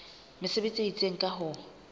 mesebetsi e itseng ka ho